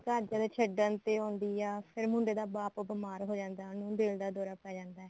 ਘਰਦਿਆ ਦੇ ਛੱਡਣ ਤੇ ਆਉਂਦੀ ਆ ਫੇਰ ਮੁੰਡੇ ਦਾ ਬਾਪ ਬੀਮਾਰ ਹੋ ਜਾਂਦਾ ਉਹਨੂੰ ਦਿਲ ਦਾ ਦੋਰਾ ਪੈ ਜਾਂਦਾ